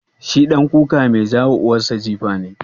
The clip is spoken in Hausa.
Shi ɗan kuka mai ja wa uwar sa jifa ne?